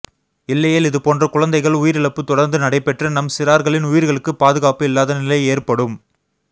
இல்லையேல் இதுபோன்ற குழந்தைகள் உயிரிழப்பு தொடா்ந்து நடைபெற்று நம் சிறாா்களின் உயிா்களுக்கு பாதுகாப்பு இல்லாத நிலை ஏற்படும்